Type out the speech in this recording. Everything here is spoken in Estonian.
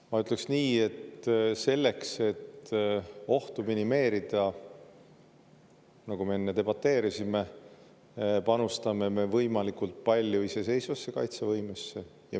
Aga ma ütleks nii, et selleks, et ohtu minimeerida, nagu me enne debateerisime, panustame me võimalikult palju iseseisvasse kaitsevõimesse.